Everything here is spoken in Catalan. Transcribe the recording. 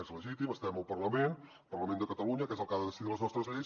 és legítim estem al parlament al parlament de catalunya que és el que ha de decidir les nostres lleis